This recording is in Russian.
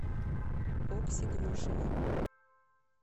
окси грушина